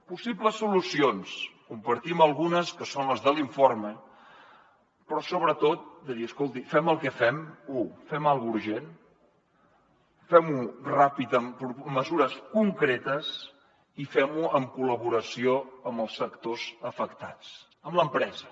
possibles solucions en compartim algunes que són les de l’informe però sobretot de dir escolti fem el que fem u fem alguna cosa urgent fem ho ràpid amb mesures concretes i fem ho en col·laboració amb els sectors afectats amb l’empresa